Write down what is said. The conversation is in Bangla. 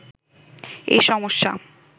এই সমস্যা